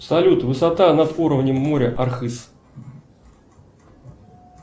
салют высота над уровнем моря архыз